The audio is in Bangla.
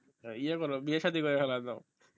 ইয়ে করো বিয়ে সাধি করে ফেল একদম